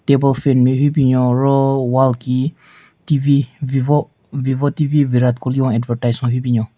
Table fan nme hyu binyon ro wall ki TV vivo vivo TV Virat Kohli hon advertise hon hyu binyon.